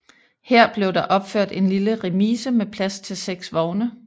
Her blev der opført en lille remise med plads til seks vogne